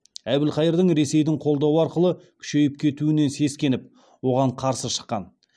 әбілқайырдың ресейдің қолдауы арқылы күшейіп кетуінен сескеніп оған қарсы шыққан